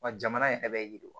Wa jamana in yɛrɛ bɛ yiriwa